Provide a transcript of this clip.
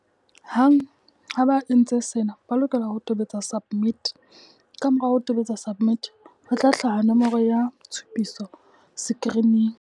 Hang ha ba entse sena, ba lokela ho tobetsa SUBMIT. Kamora ho tobetsa SUBMIT, ho tla hlaha nomoro ya tshupiso sekirining.